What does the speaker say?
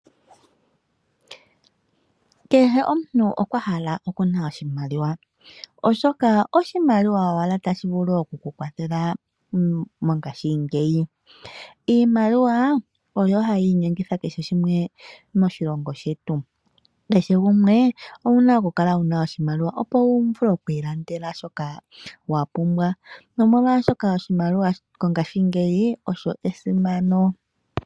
Kehe omuntu okwahala okuna oshimaliwa oshoka oshimaliwa owala tashivulu oku ku kwathela mongashingeya iimaliwa oyo hayi inyengitha kehe shimwe moshilongo shetu. Kehe gumwe owuna okukala wuna oshimaliwa opo wuvule oku ilandela shoka wapumbwa nomolwaashoka oshimaliwa mongaashingeyi esimano.